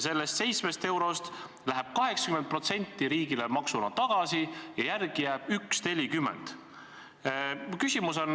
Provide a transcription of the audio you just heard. Sellest 7 eurost läheb 80% riigile maksuna tagasi ja järele jääb 1,40.